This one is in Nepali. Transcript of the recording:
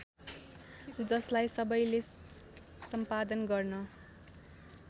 जसलाई सबैले सम्पादन गर्न